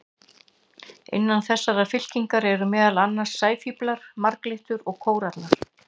Innan þessarar fylkingar eru meðal annars sæfíflar, marglyttur og kórallar.